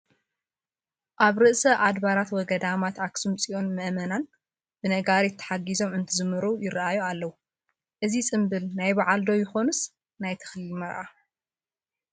ኣብ ርእሰ ኣድባራት ወገዳማት ኣኽሱም ፅዮን ምእመናን ብነጋሪት ተሓጊዞም እንትዝምሩ ይርአዩ ኣለዉ፡፡ እዚ ፅምብል ናይ በዓል ዶ ይኾንስ ናይ ተክሊል መርዓ?